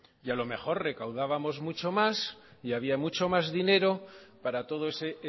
y a lo mejor recaudábamos mucho más y había mucho más dinero para todo ese